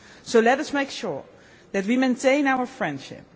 So let us make sure that we maintain our friendship.